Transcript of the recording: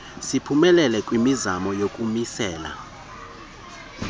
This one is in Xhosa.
siphumelele kwimizamo yokumisela